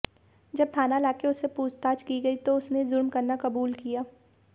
जब थाना लाकर उससे पूछताछ की गई तो उसने जुर्म करना कबूल किया